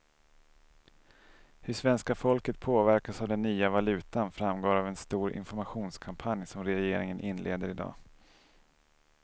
Hur svenska folket påverkas av den nya valutan framgår av en stor informationskampanj som regeringen inleder i dag.